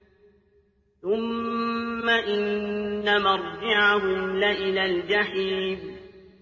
ثُمَّ إِنَّ مَرْجِعَهُمْ لَإِلَى الْجَحِيمِ